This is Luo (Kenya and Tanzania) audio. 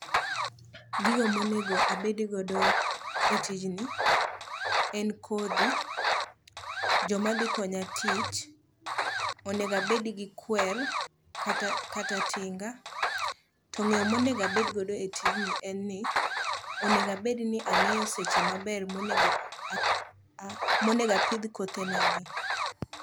Gigo monego abedgodo e tijni en kodhi, jomadhikonya tich, onego abedgi kwer kata tinga to ng'eyo monego abedgo e tijni en ni onego abedni ang'eyo seche maber monego apidh kothenagi.